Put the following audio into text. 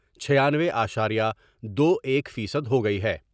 چھیانوے اشاریہ دو ایک فیصد ہوگئی ہے ۔